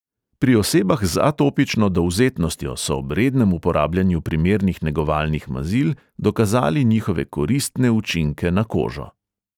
Pri osebah z atopično dovzetnostjo so ob rednem uporabljanju primernih negovalnih mazil dokazali njihove koristne učinke na kožo.